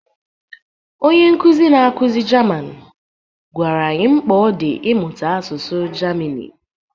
Onye nkuzi na-akụzi Jaman gwara anyị mkpa ọ dị ịmụta asụsụ Gemanị.